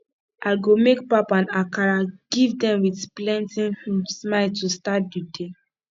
i go make pap and akara give dem with plenty um smile to start di day